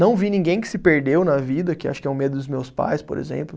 Não vi ninguém que se perdeu na vida, que acho que é o medo dos meus pais, por exemplo.